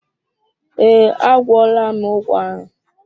Ee, a gwọọla m ụgwọ ahụ.